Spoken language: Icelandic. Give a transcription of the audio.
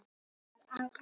Hann fæddist í Prag.